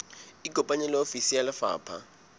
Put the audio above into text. ikopanye le ofisi ya lefapha